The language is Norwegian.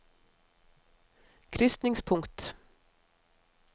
krysningspunkt